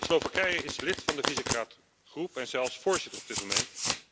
Slowakije is lid van de Visegrad groep, en zelfs voorzitter op dit moment.